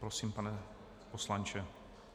Prosím, pane poslanče.